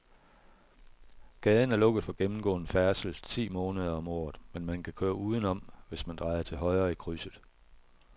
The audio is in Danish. Gaden er lukket for gennemgående færdsel ti måneder om året, men man kan køre udenom, hvis man drejer til højre i krydset.